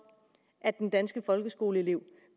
at den danske folkeskoleelev